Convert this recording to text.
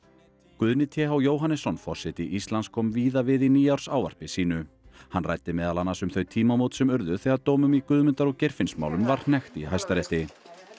Guðni t h Jóhannesson forseti Íslands kom víða við í nýársávarpi sínu hann ræddi meðal annars um þau tímamót sem urðu þegar dómum í Guðmundar og Geirfinnsmálum var hnekkt í Hæstarétti